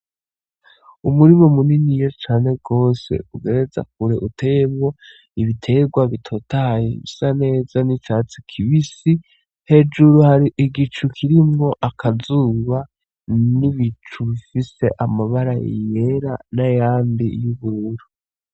Umurima muniniya cane gose ugereza kure, uteyemwo ibitegwa bitotahaye bisa neza nk'icatsi kibisi. Hejuru Hari igicu kirimwo akazuba, n'ibicu bifise amabara yera n'ayandi y'ubiruru.